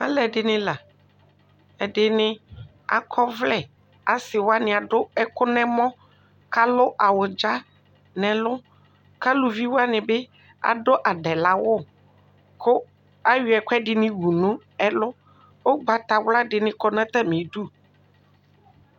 Alʋ edini la ɛdini akɔ ɔvlɛ asi wani adʋ ɛkʋ nʋ ɛmɔ kʋ alʋ awʋdza nʋ ɛlʋ kʋ alʋvi wani bi adʋ adɛlawʋ kʋ ayɔ ɛkʋɛdini wʋ nʋ ɛlʋ ʋgbatawla dini kɔ nʋ atami idʋ